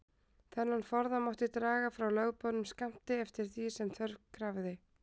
Þennan forða mátti draga frá lögboðnum skammti, eftir því sem þörf krafði.